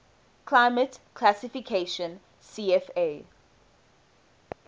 climate classification cfa